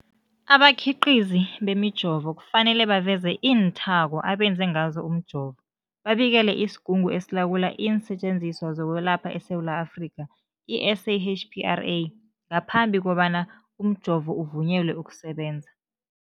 Abakhiqizi bemijovo kufanele baveze iinthako abenze ngazo umjovo, babikele isiGungu esiLawula iinSetjenziswa zokweLapha eSewula Afrika, i-SAHPRA, ngaphambi kobana umjovo uvunyelwe ukusebenza.